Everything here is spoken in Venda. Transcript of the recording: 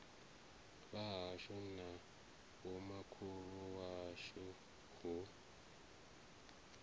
vhashu na vhomakhulu washu hu